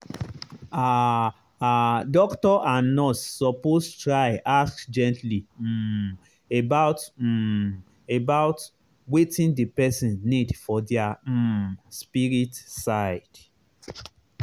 ah ah doctor and nurse suppose try ask gently um about um about wetin the person need for their um spirit side.